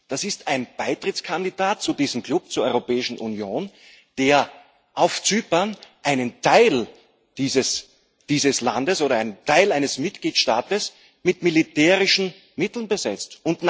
Das ist ein Beitrittskandidat zu diesem Klub, zur Europäischen Union, der auf Zypern einen Teil dieses Landes oder einen Teil eines Mitgliedstaats mit militärischen Mitteln besetzt.